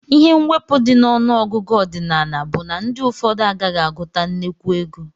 Ihe mwepu di na ọnụ ọgụgụ ọdinala bu na ndi ụfọdụ agaghi aguta nnekwu ego.